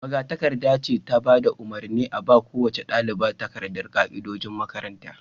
magatakarda ce ta bada umarni a ba kowace dalibi takardan ka'idojin makaranta